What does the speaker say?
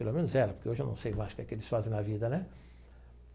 Pelo menos era, porque hoje eu não sei mais o que que eles fazem na vida, né?